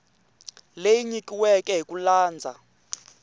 leyi nyikiweke hi ku landza